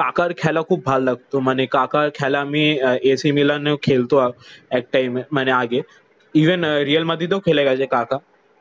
কাকার খেলা খুব ভালো লাগতো। মানে কাকার খেলা আমি এ সি মিলানেও খেলতো এক টাইম মানে আগে। ইভেন রিয়াল মাদ্রিদও খেলে গেছে কাকা।